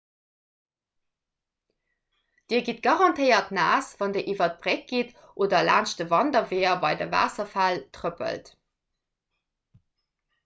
dir gitt garantéiert naass wann dir iwwer d'bréck gitt oder laanscht de wanderweeër bei de waasserfäll trëppelt